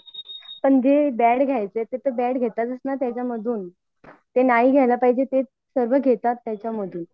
पण जे बॅड घ्याचा ते बॅड घेतातच ना त्यामधून जे नाही घ्याल पाहिजे ते घेतात त्यांच्यामधून